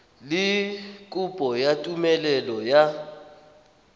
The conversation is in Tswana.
le kopo ya tumelelo ya